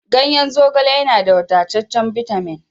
Ganyen zogale yana da wadataccen bitamin